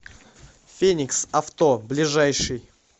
феникс авто ближайший